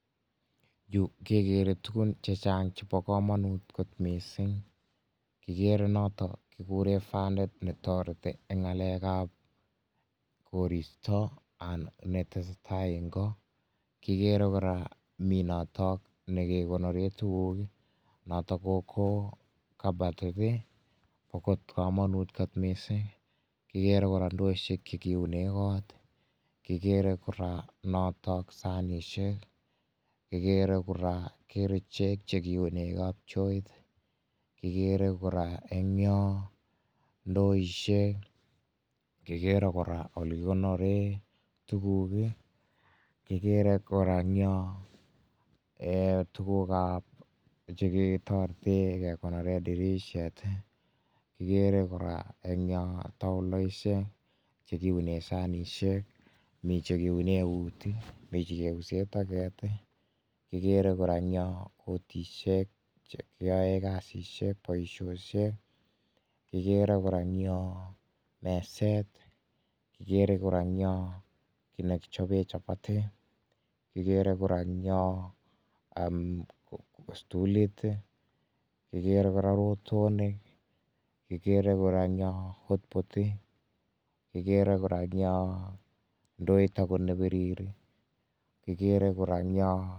Yu kegere tukuk chechang chebo kamanut kot mising kigere noton kikuren fanit nondon netoreti eng ngalekab koristo ketesetai eng ko ,kigere kora mi noton nekekonoren tukuk noton ko kabatit ko bo kamanut kot mising, kigere kora chekiunen kot , kigere kora noton sanishek , kigere kora kigere icheket chekiuni kapchoit ,kigere koraa eng yon ndoishek, kigere kora elekikonirei tukuk